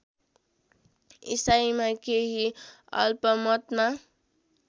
इसाईमा केही अल्पमतमा